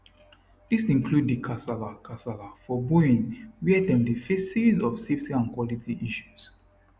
dis include di kasala kasala for boeing wia dem dey face series of safety and quality issues